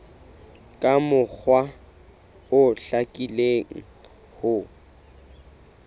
ka mokgwa o hlakileng ho